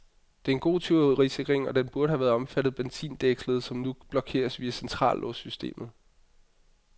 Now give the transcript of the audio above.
Det er en god tyverisikring, og den burde have omfattet benzindækslet, som nu kun blokeres via centrallåssystemet.